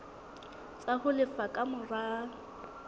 tsa ho lefa ka mora